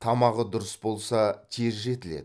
тамағы дұрыс болса тез жетіледі